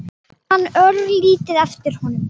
Ég man örlítið eftir honum.